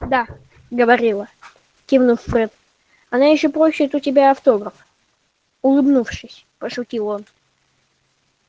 да говорила кивнул фред она ещё попросит у тебя автограф улыбнувшись пошутил он